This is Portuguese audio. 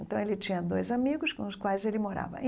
E então, ele tinha dois amigos com os quais ele morava.